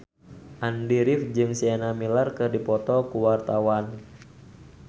Andy rif jeung Sienna Miller keur dipoto ku wartawan